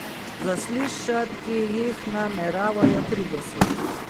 Zaslišati jih nameravajo trideset.